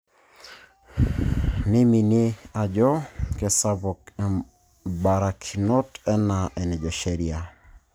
Neimie ajo kesuj imbarakinot enaa enejo sheria